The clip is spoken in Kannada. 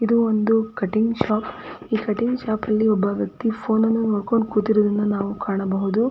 ಇದು ಒಂದು ಕಟಿಂಗ್ ಶಾಪ್ ಈ ಕಟಿಂಗ್ ಶಾಪ್ ಅಲ್ಲಿ ಒಬ್ಬ ವ್ಯಕ್ತಿ ಫೋನ್ ನ್ನು ನೋಕ್ಕೊಂಡು ಕೂತಿರುವುದನ್ನು ನಾವು ಕಾಣಬಹುದು .